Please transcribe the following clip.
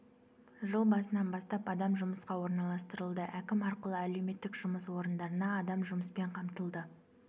жыл басынан бастап адам жұмысқа орналастырылды әкім арқылы әлеуметтік жұмыс орындарына адам жұмыспен қамтылды